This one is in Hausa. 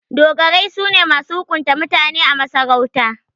Dogarai su ne masu hukunta mutane a masarauta.